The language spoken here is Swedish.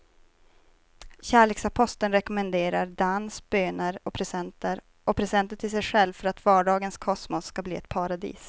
Kärleksaposteln rekommenderar dans, böner och presenter och presenter till sig själv för att vardagens kosmos ska bli ett paradis.